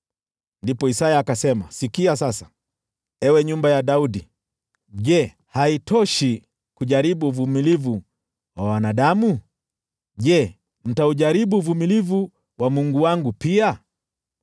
Ndipo Isaya akasema, “Sikia sasa, ewe nyumba ya Daudi! Je, haitoshi kujaribu uvumilivu wa wanadamu? Je, mtaujaribu uvumilivu wa Mungu wangu pia?